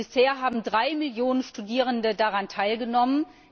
Bisher haben drei Millionen Studierende daran teilgenommen.